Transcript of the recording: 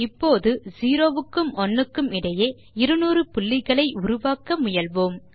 இப்போது 0 க்கும் 1 க்கும் இடையே 200 pointகளை உருவாக்க முயல்வோம்